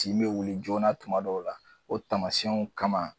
Tin bɛ wuli joona tuma dɔw la o taamasiyɛnw kama.